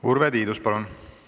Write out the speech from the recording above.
Urve Tiidus, palun!